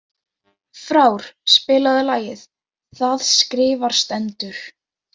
Frár, spilaðu lagið „Það skrifað stendur“.